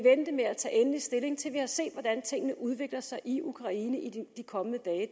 vente med at tage endelig stilling til vi har set hvordan tingene udvikler sig i ukraine i de kommende dage